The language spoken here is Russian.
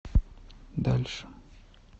дальше